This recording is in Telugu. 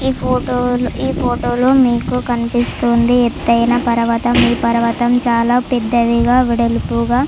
ఈ ఫోటో ఈ ఫోటో లో మీకు కనిపిస్తుంది ఎత్తయిన పర్వతం. ఈ పర్వతం చాలా పెద్దదిగా వెడల్పుగా --